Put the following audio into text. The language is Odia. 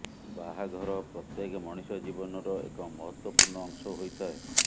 ବାହାଘର ପ୍ରତ୍ୟେକ ମଣିଷ ଜୀବନର ଏକ ମହତ୍ତ୍ୱପୂର୍ଣ୍ଣ ଅଂଶ ହୋଇଥାଏ